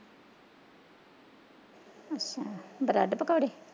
Bread ਪਕੋੜੇ।